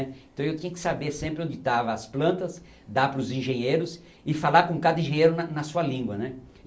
Então eu tinha que saber sempre onde estava as plantas, dar para os engenheiros e falar com cada engenheiro na na sua língua, né.